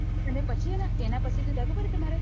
એના પછી શું થાય ખબર તમારે